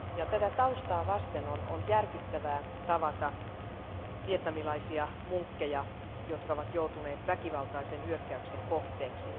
Tätä taustaa vasten on järkyttävää tavata vietnamilaisia munkkeja, jotka ovat joutuneet väkivaltaisen hyökkäyksen kohteeksi.